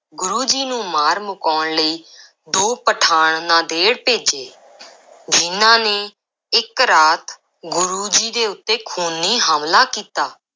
ਗੁਰੂ ਜੀ ਨੂੰ ਮਾਰ ਮੁਕਾਉਣ ਲਈ ਦੋ ਪਠਾਣ ਨਾਂਦੇੜ ਭੇਜੇ ਜਿਨ੍ਹਾਂ ਨੇ ਇੱਕ ਰਾਤ ਗੁਰੂ ਜੀ ਦੇ ਉੱਤੇ ਖ਼ੂਨੀ ਹਮਲਾ ਕੀਤਾ।